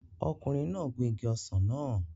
Ọkùnrin náà gun igi ọsàn náà